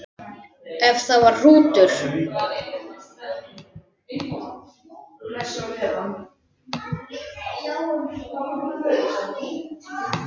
Ef það var hrútur.